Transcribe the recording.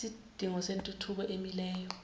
isidingo sentuthuko emileyo